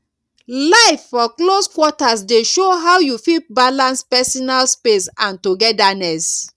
life for close quarters dey show how you fit balance personal space and togetherness